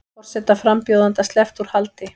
Forsetaframbjóðanda sleppt úr haldi